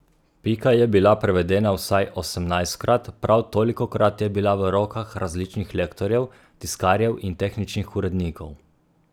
Pika je bila prevedena vsaj osemnajstkrat, prav tolikokrat je bila v rokah različnih lektorjev, tiskarjev in tehničnih urednikov.